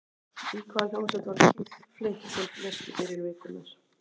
Í hvaða hljómsveit var Keith Flint sem lést í byrjun vikunnar?